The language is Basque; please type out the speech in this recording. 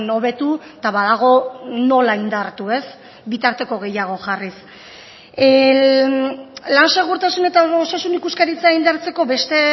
hobetu eta badago nola indartu ez bitarteko gehiago jarriz lan segurtasun eta osasun ikuskaritza indartzeko beste